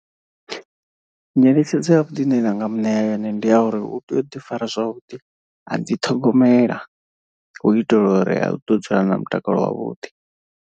Nyeletshedzo ya vhuḓi ine ndanga muṋea yone ndi ya uri u tea u ḓi fara zwavhuḓi a dziiṱhogomela hu itela uri u ḓo dzula a na mutakalo wavhuḓi.